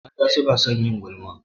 Mata su na son yin gulma